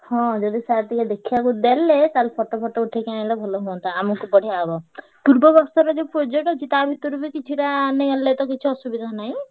ହଁ ଯଦି sir ଟିକେ ଦେଖିଆକୁ ଦେଲେ ତାହେଲେ photo photo ଉଠେଇକି ଆଇଁଲେ ଭଲ ହୁଅନ୍ତା ଆମକୁ ବଢିଆ ହବ ପୂର୍ବ ବର୍ଷର ଯୋଉ project ଅଛି ତା ଭିତରୁ ବି କିଛିଟା ନେଇ ଆଣିଲେ ତ କିଛି ଅସୁବିଧା ନାହିଁ।